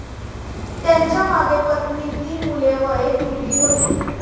त्यांच्यामागे पत्नी, तीन मुले व एक मुलगी होती.